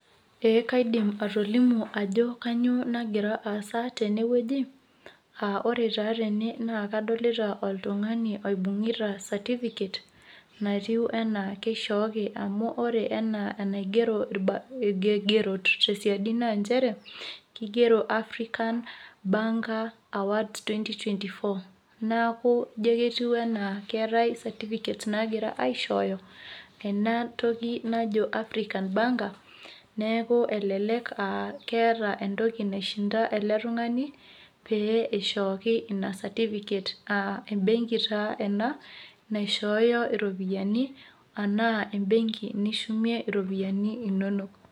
Ee kaidim atolimu ajo kainyioo nagira aasa tenewueji aa ore taa tene naa kadolita oltung'ani oibung'ita certificate natiu enaa kishooki enaa enaigero irkigerot tesiadi naa nchere kigero African Banker Award 2024 neeku ijo ketiu enaa keetai certificates naagirai aishooto tena toki naji African Banker neeku elelek aa eta entoki naishinda ele tung'ani pee eishooki ina certificate aa embenki taa ena naishooyo iropiyiani enaa embenki nishumie iropiyiani inonok.